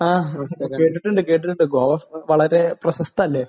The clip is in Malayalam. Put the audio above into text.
ആഹ്. കേട്ടിട്ടുണ്ട്. കേട്ടിട്ടുണ്ട്. ഗോവ വളരെ പ്രശസ്തമല്ലേ.